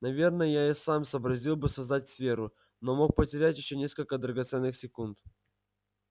наверное я и сам сообразил бы создать сферу но мог потерять ещё несколько драгоценных секунд